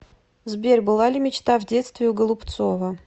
сбер была ли мечта в детстве у голубцова